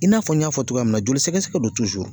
I n'a fɔ n y'a fɔ cogoya min na, joli sɛgɛsɛgɛ don